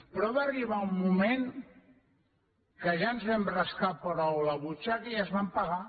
però va arribar un moment en què ja ens vam rascar prou la butxaca i es van pagar